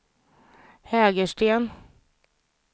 Hägersten